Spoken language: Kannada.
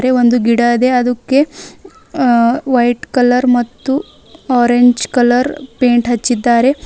ರೇ ಒಂದು ಗಿಡ ಇದೆ ಅದುಕ್ಕೆ ಅ ವೈಟ್ ಕಲರ್ ಮತ್ತು ಆರೆಂಜ್ ಕಲರ್ ಪೇಂಟ್ ಹಚ್ಚಿದ್ದಾರೆ.